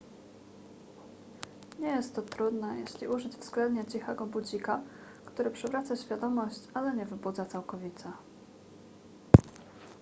nie jest to trudne jeśli użyć względnie cichego budzika który przywraca świadomość ale nie wybudza całkowicie